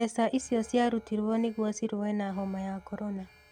Mbeca icio ciarutirwo nĩguo cīrue na homa ya korona